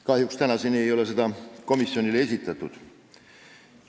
Kahjuks ei ole seda tänaseni komisjonile esitatud.